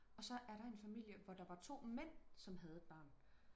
og så er der en familie hvor der var to mænd som havde et barn